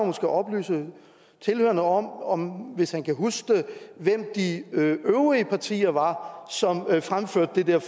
måske oplyse tilhørerne om om hvis han kan huske det hvem de øvrige partier var som fremførte det der